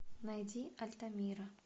найди альтамира